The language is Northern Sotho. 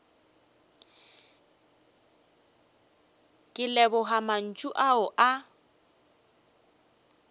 ke leboga mantšu ao a